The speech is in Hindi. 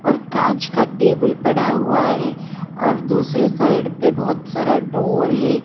और कांच का टेबल पड़ा हुआ है और दूसरे साइड पर बहोत सारा डोर है।